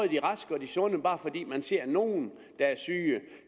de raske og de sunde bare fordi man ser nogle